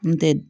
N tɛ